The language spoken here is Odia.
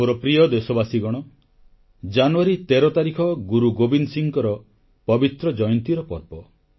ମୋର ପ୍ରିୟ ଦେଶବାସୀଗଣ ଜାନୁୟାରୀ 13 ତାରିଖ ଗୁରୁ ଗୋବିନ୍ଦ ସିଂହଙ୍କ ପବିତ୍ର ଜୟନ୍ତୀର ପର୍ବ